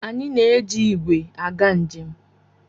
Anyị na-eji igwe aga njem.